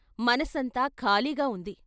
మనసంతా ఖాళీగా ఉంది.